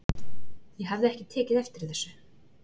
Ég hafði ekki tekið eftir þessu.